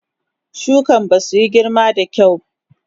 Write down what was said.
Shukan basu in girma da kyau.